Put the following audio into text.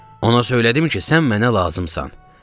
Ona söylədim ki, sən mənə lazımsan.